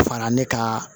Fara ne ka